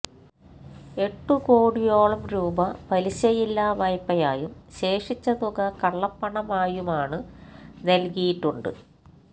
എട്ടുകോടിയോളം രൂപ പലിശയില്ലാ വായ്പയായും ശേഷിച്ച തുക കള്ളപ്പണമായുമാണ് നൽകിയിട്ടുണ്ട്